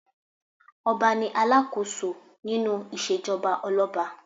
Ọba ní alákòóso nínú ìṣèjọba olọ́ba.